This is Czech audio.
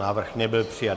Návrh nebyl přijat.